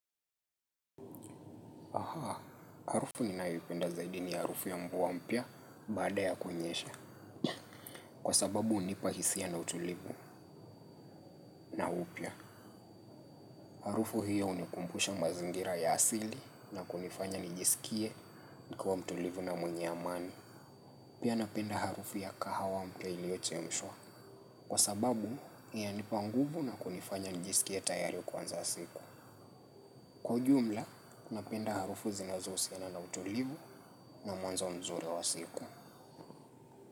Ahaa, harufu ninayoipenda zaidi ni harufu ya mvua mpya baada ya kunyesha. Kwa sababu hunipa hisia na utulivu na upya. Harufu hiyo hunikumbusha mazingira ya asili na kunifanya nijisikie nikiwa mtulivu na mwenye amani. Pia napenda harufu ya kahawa mpya iliochemshwa. Kwa sababu, inanipa nguvu na kunifanya nijisikie tayari kuanza siku. Kwa ujumla, napenda harufu zinazohusiana na utulivu na mwanzo mzuri wa siku.